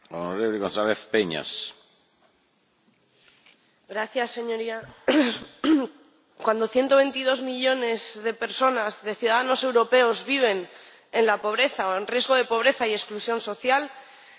Señor Presidente, cuando 122 millones de personas, de ciudadanos europeos, viven en la pobreza, o en riesgo de pobreza y exclusión social, se pone en riesgo el proyecto europeo en sí mismo.